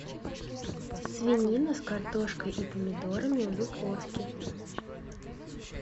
свинина с картошкой и помидорами в духовке